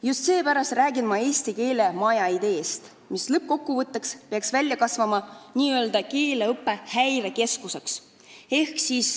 Just seepärast räägin ma eesti keele majast, mis lõppkokkuvõtteks peaks kasvama n-ö keeleõppe häirekeskuseks.